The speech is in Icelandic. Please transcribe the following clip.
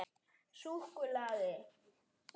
feld merkir völlur.